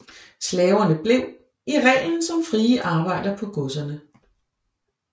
Slaverne blev i reglen som frie arbejdere på godserne